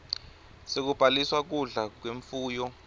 sekubhaliswa kudla kwemfuyo